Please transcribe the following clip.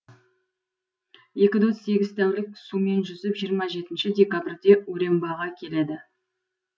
екі дос сегіз тәулік сумен жүзіп жиырма жетінші декабрьде урембаға келеді